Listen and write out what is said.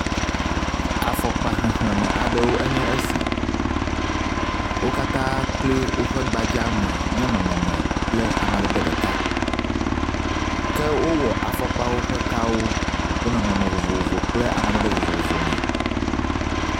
Afɔkpa xexleme aɖe nye esi. Wo katã kloe woƒe gbadza me nye nɔnɔme kple amadede ɖeka ke wowɔ afɔkpawo ƒe kawo ɖe nɔnɔme vovovo kple amadede vovovo me.